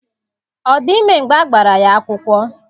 Ọ dị ime mgbe a gbara ya akwụkwọ?